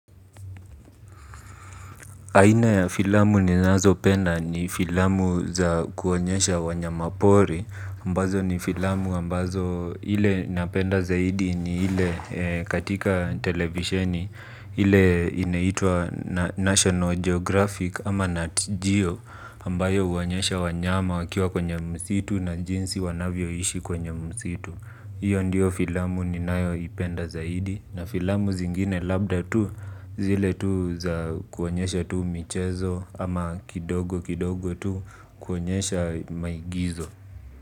Aina ya filamu ninazopenda ni filamu za kuonyesha wanyamapori, ambazo ni filamu ambazo ile napenda zaidi ni ile katika televisheni. Ile inaitwa National Geographic ama Nat Geo, ambayo huonyesha wanyama wakiwa kwenye msitu na jinsi wanavyo ishi kwenye msitu. Iyo ndio filamu ninayo ipenda zaidi na filamu zingine labda tu zile tu za kuonyesha tu michezo ama kidogo kidogo tu kuonyesha maigizo.